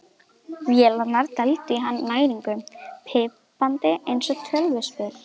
Vélarnar dældu í hann næringu, pípandi eins og tölvuspil.